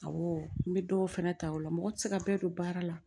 Awɔ n bɛ dɔw fana ta o la mɔgɔ tɛ se ka bɛɛ don baara la